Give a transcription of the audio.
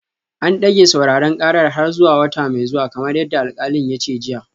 An dage sauraren karar har zuwa wata mai zuwa kamar yadda alkalin ya ce jiya